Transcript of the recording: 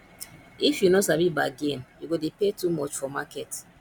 if you no sabi bargain you go dey pay too much for market